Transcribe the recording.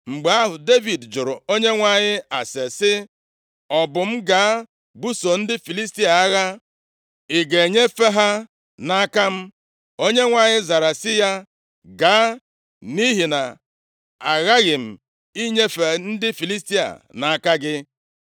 Mgbe ahụ, Devid jụrụ + 5:19 \+xt 1Sa 23:2; 2Sa 2:1; 5:23\+xt* Onyenwe anyị ase sị, “Ọ bụ m gaa buso ndị Filistia agha? Ị ga-enyefe ha nʼaka m?” Onyenwe anyị zara sị ya, “Gaa, nʼihi na aghaghị m inyefe ndị Filistia nʼaka gị.”